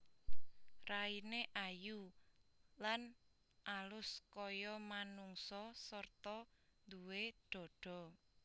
Raine ayu lan alus kaya manungsa sarta duwé dhadha